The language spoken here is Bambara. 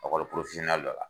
Ɔkɔli porofosiyɔnnɛli dɔ la